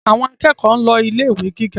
Àwọn akẹ́kọ̀ọ́ ń lọ ilé ìwé gíga